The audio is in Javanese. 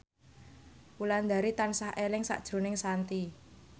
Wulandari tansah eling sakjroning Shanti